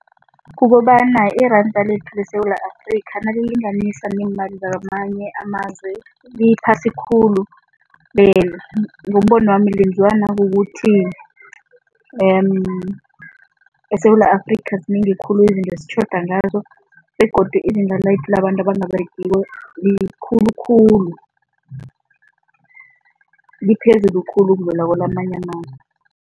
Kukobana iranda lethu leSewula Afrika nalilinganiswa neemali zakwamanye amazwe, liphasi khulu. Ngombono wami lenziwa nakukuthi eSewula Afrika zinengi khulu izinto esitjhoda ngazo begodu izinto abantu abangaberegiko likhulu khulu, liphezulu khulu ukudlula kwelamanye amazwe.